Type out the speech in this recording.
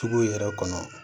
Sugu yɛrɛ kɔnɔ